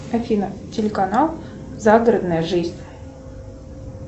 афина телеканал загородная жизнь